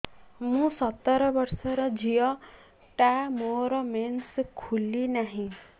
ମୁ ସତର ବର୍ଷର ଝିଅ ଟା ମୋର ମେନ୍ସେସ ଖୁଲି ନାହିଁ